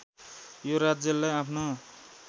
यो राज्यलाई आफ्नो